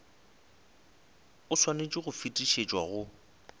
o swanetše go fetišetšwa go